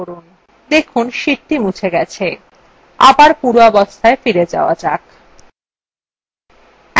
দেখুন sheetthe মুছে গেছে